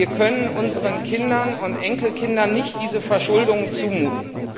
Wir können unseren Kindern und Enkelkindern nicht diese Verschuldung zumuten.